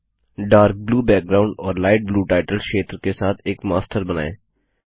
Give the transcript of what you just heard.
dark blue background और light blue title क्षेत्र के साथ एक मास्टर बनाएँ